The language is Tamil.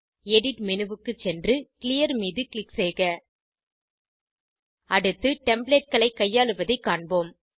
எடிட் மேனு க்கு சென்று கிளியர் மீது க்ளிக் செய்க அடுத்து Templateகளை கையாளுவதைக் காண்போம்